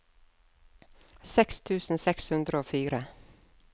seks tusen seks hundre og fire